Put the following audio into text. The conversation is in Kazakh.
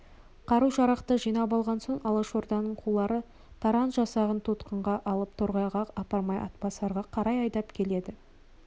қару-жарақты жинап алған соң алашорданың қулары таран жасағын тұтқынға алып торғайға апармай атбасарға қарай айдап кетеді